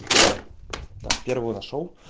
так первую нашёл